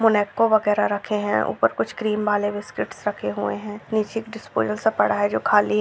Monaco वगैरा रखे है ऊपर कुछ क्रीम वाले बिस्किट्स रखे हुए है नीचे स्टूल जैसा पड़ा है जो खाली है।